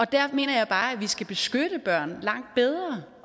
der mener jeg bare at vi skal beskytte børn langt bedre